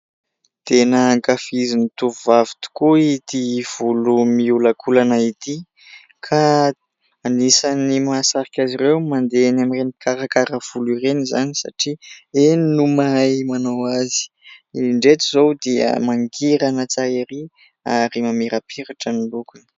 Tena ankafizin'ny tovovavy tokoa ity volo miolakolana ity ka anisan'ny mahasarika azy ireo mandeha eny amin'ireny mpikarakara volo ireny izany satria eny no mahay manao azy. Indreto izao dia mangirana tsara ery ary mamirapiratra ny lokony.